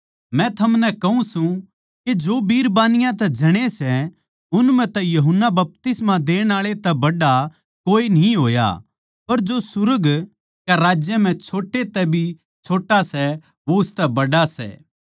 मै थमनै कहूँ सूं के जो बिरबानियाँ तै जणे सै उन म्ह तै यूहन्ना बपतिस्मा देणआळे तै बड्ड़ा कोए न्ही होया पर जो सुर्ग कै राज्य म्ह छोट्टे तै भी छोट्टा सै वो उसतै बड्ड़ा सै